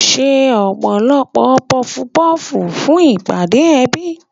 Ṣe ọ̀pọ̀lọpọ̀ pọfu pọ́fù fún ìpàdé ẹbí.